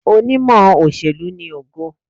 Onímọ̀ òṣèlú ni Ògo.